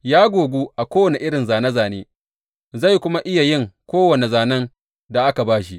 Ya gogu a kowane irin zāne zāne, zai kuma iya yin kowane zānen da aka ba shi.